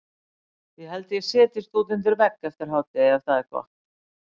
Ég held að ég setjist út undir vegg eftir hádegi ef það er gott.